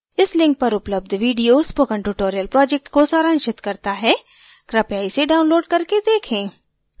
इस link पर उपलब्ध video spoken tutorial project को सारांशित करता है कृपया इसे download करके देखें